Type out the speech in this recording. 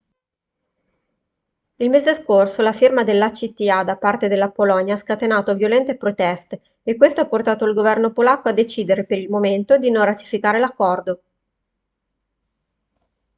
il mese scorso la firma dell'acta da parte della polonia ha scatenato violente proteste e questo ha portato il governo polacco a decidere per il momento di non ratificare l'accordo